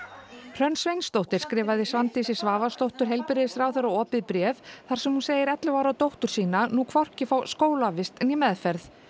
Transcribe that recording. Hrönn Sveinsdóttir skrifaði Svandísi Svavarsdóttur heilbrigðisráðherra opið bréf þar sem hún segir ellefu ára dóttur sína nú hvorki fá skólavist né meðferð